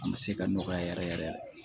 An bɛ se ka nɔgɔya yɛrɛ yɛrɛ